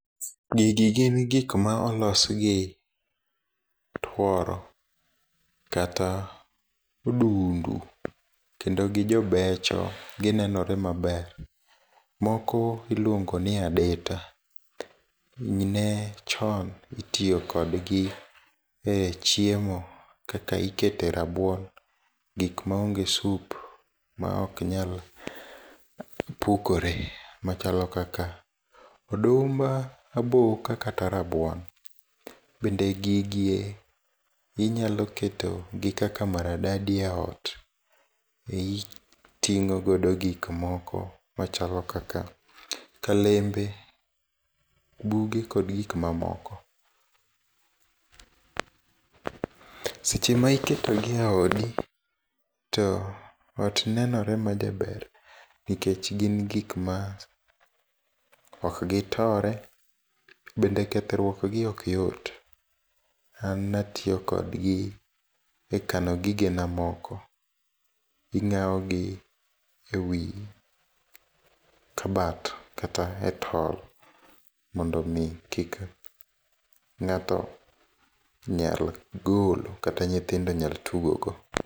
Gigi gin gikma olos gi tworo kata odundu, kendo gijobecho ginenore maber, moko iluongoni adita, ne chon itiyokodgi e chiemo kaka ikete rabuon, gikma onge soup ma oknyal pukore machalo kala odumb aboka kata rabuon, bende gigi inyaloketogi kaka maradadi e ot, iting'o godo gikmoko machalo kaka kalembe, buge kod gikmamoko. Seche ma iketogi e odi to ot nenore majaber nikech gin gikma okgitore, bende kethruokgi ok yot. An ne atiyokodgi e kano gigena moko, ing'awo gi e wii kabat kata e tol mondo omii kik ng'ato onyal golo kata nyithindo nyal tugogo.